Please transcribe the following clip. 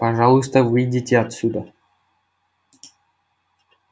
пожалуйста выйдите отсюда